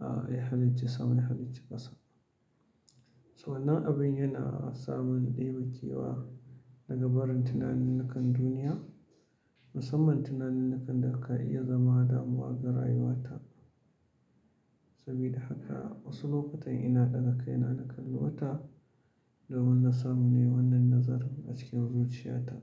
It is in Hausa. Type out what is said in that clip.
ah ya halicci sama, ya halicci ƙasa. Wannan abin yana samun ɗebe kewa daga barin tunanin nikan duniya, musamman tunanin nakan da ka iya zama damuwa ga rayuwata. Sabida haka wasu lokutan ina ɗaga kai na kalli wata, domin na samu ne wannan nazarin a cikin zuciyata.